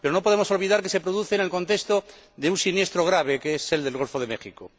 Pero no podemos olvidar que se produce en el contexto de un siniestro grave, como es el del Golfo de México.